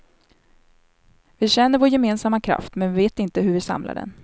Vi känner vår gemensamma kraft, men vi vet inte hur vi samlar den.